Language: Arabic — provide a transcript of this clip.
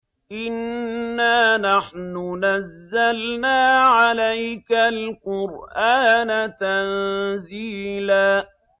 إِنَّا نَحْنُ نَزَّلْنَا عَلَيْكَ الْقُرْآنَ تَنزِيلًا